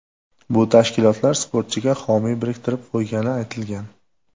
Bu tashkilotlar sportchiga homiy biriktirib qo‘ygani aytilgan.